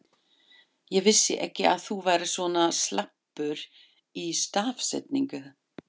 Ég vissi ekki að þú værir svona slappur í stafsetningu!